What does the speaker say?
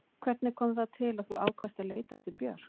Hvernig kom það til að þú ákvaðst að leita eftir Björk?